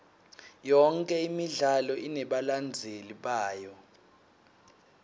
yonke imidlalo inebalandzeli bayo